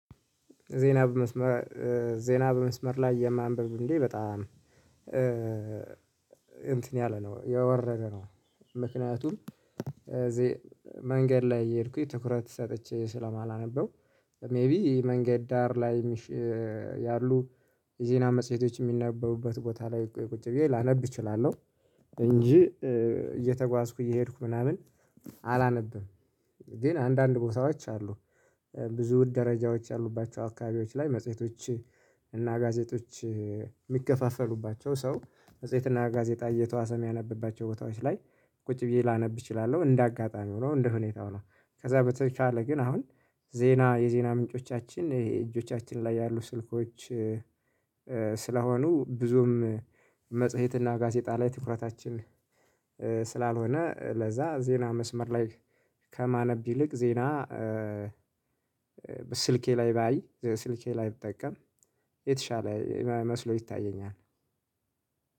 ዜና በመስመር ዜና በመስመር ላይ የማንበብ እንዴ በጣም እንትን ያለ ነው የወረደ ነው። ምክንያቱም እዚህ መንገድ ላይ እየሄድኩኝ ትኩረት ሰጥቼ ስለማላነበው። ሜይቢ መንገድ ዳር ላይ ያሉ የዜና መጽሄቶች የሚነበቡበት ቦታ ላይ ቁጭ ብዬ ላነብ እችላለሁ። እንጂ እየተጓዝኩ እየሄድኩ ምናምን አላነብም። እንግዲህ አንዳንድ ቦታዎች አሉ። ብዙ ደረጃዎች ያሉባቸው አካባቢዎች ላይ መጽሄቶች እና ጋዜጦች የሚገፋፈሉባቸው ሰው መጽሄት እና ጋዜጣ እየተዋሰም ያነበባቸው ቦታዎች ላይ። ቁጭ ብዬ ላነብ እችላለሁ እንደ አጋጣሚ ሆኖ እንደ ሁኔታው ነው። ከዛ በተካለ ግን አሁን ዜና የዜና ምንጮቻችን ይሄ እጆቻችን ላይ ያሉ ስልኮች። ስለሆኑ ብዙም መጽሄት እና ጋዜጣ ላይ ትኩረታችን ስላልሆነ። ለዛ ዜና መስመር ላይ ከማነብ ይልቅ ዜና ስልኬ ላይ ባይ ስልኬ ላይ ብጠቀም የተሻለ መስሎ ይታየኛል።